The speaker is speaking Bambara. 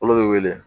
Olu bɛ wele